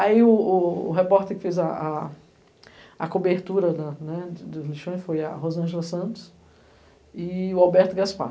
Aí o repórter que fez a cobertura dos lixões foi a Rosângela Santos e o Alberto Gaspar.